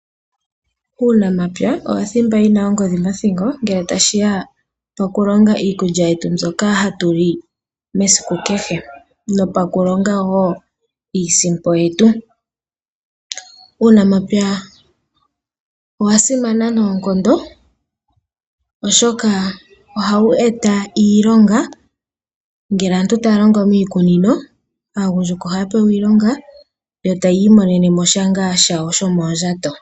uunamapya owo thimba yi na ongodhi ngele tashi ya pokulonga iikulya yetu mbyoka hatu li esiku kehe nopokulonga wo iisimpo yetu. Uunamapya owa simana noonkondo, oshoka ohawu eta iilonga ngele aantu taya longo miikunino, aagundjuka ohaya pewa iilonga yo taya imonene mo sha shawo shomoondjato.